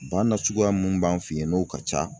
Ba nasuguya mun b'an fɛ yan n'o ka ca